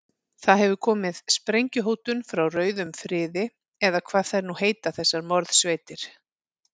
Það hefur komið sprengjuhótun frá rauðum friði, eða hvað þær nú heita þessar morðsveitir.